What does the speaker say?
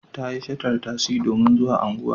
Ta yi shatar tasi domin zuwa unguwa.